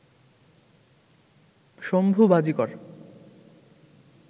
Shambhu Bajikar